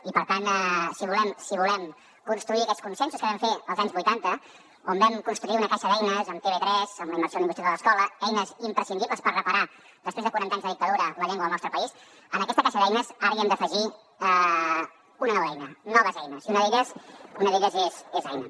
i per tant si volem construir aquests consensos que vam fer als anys vuitanta on vam construir una caixa d’eines amb tv3 amb la immersió lingüística de l’escola eines imprescindibles per reparar després de quaranta anys de dictadura la llengua al nostre país en aquesta caixa d’eines ara hem d’afegir una nova eina noves eines i una d’elles és aina